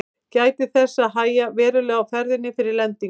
Gætið þess að hægja verulega á ferðinni fyrir lendingu.